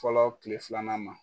Fɔlɔ tile filanan ma.